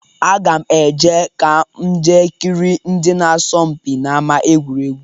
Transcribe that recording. Aga m eje ka m jee kirie ndị na-asọ mpi n'ama egwuregwu.